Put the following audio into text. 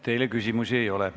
Teile küsimusi ei ole.